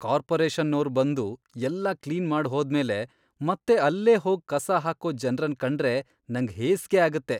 ಕಾರ್ಪೊರೇಷನ್ನೋರ್ ಬಂದು ಎಲ್ಲ ಕ್ಲೀನ್ ಮಾಡ್ ಹೋದ್ಮೇಲೆ ಮತ್ತೆ ಅಲ್ಲೇ ಹೋಗ್ ಕಸ ಹಾಕೋ ಜನ್ರನ್ ಕಂಡ್ರೆ ನಂಗ್ ಹೇಸ್ಗೆ ಆಗತ್ತೆ.